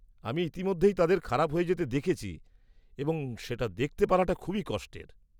-আমি ইতিমধ্যেই তাদের খারাপ হয়ে যেতে দেখেছি এবং সেটা দেখতে পারাটা খুবই কষ্টের।